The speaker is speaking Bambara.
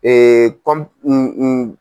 Ee kɔm.